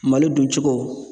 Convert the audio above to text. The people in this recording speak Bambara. Malo duncogo